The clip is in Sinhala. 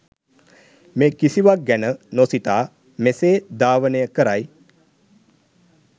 මේ කිසිවක් ගැන නොසිතා මෙසේ ධාවනය කරයි.